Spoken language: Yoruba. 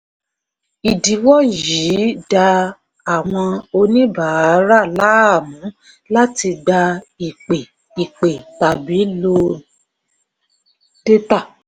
ìdíwọ́ yìí dá àwọn oníbàárà láàmú láti gba ìpè ìpè tàbí lo dátà.